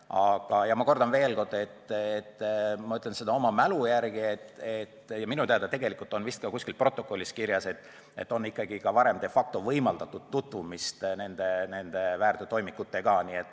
Aga ma kordan veel – ütlen seda mälu järgi ja minu teada on see vist ka kuskil protokollis kirjas –, et varem on de facto võimaldatud tutvumist väärteotoimikutega.